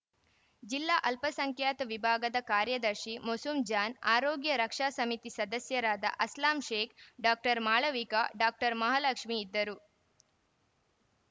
ಜಿಲ್ಲಾ ಅಲ್ಪಸಂಖ್ಯಾತ ವಿಭಾಗದ ಕಾರ್ಯದರ್ಶಿ ಮೊಸೂಮ್‌ಜಾನ್‌ ಆರೋಗ್ಯ ರಕ್ಷಾ ಸಮಿತಿ ಸದಸ್ಯರಾದ ಅಸ್ಲಾಮ್‌ಶೇಖ್‌ ಡಾಕ್ಟರ್ ಮಾಳವಿಕಾ ಡಾಕ್ಟರ್ ಮಹಾಲಕ್ಷ್ಮೀ ಇದ್ದರು